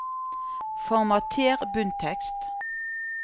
Formater bunntekst